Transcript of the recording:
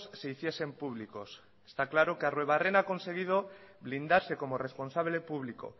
se hiciesen públicos está claro que arruebarrena ha conseguido blindarse como responsable público